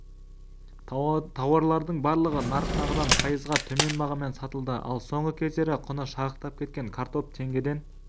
тауарлардың барлығы нарықтағыдан пайызға төмен бағамен сатылды ал соңғы кездері құны шарықтап кеткен картоп теңгеден